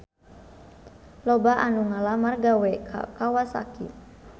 Loba anu ngalamar gawe ka Kawasaki